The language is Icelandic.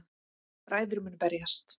Bræður munu berjast